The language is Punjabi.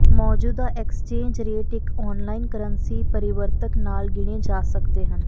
ਮੌਜੂਦਾ ਐਕਸਚੇਂਜ ਰੇਟ ਇੱਕ ਔਨਲਾਈਨ ਕਰੰਸੀ ਪਰਿਵਰਤਕ ਨਾਲ ਗਿਣੇ ਜਾ ਸਕਦੇ ਹਨ